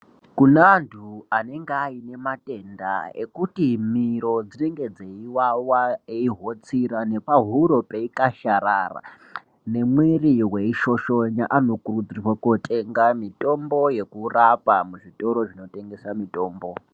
Kune antu anenge aine matenda ekuti miro dzinenge dzeiwawa eihotsira nepahuro peikasharara nemwiri weishoshonya anokurudzirwa kotenga mutombo yekurapa muzvitoro zvinotengesa mutombo.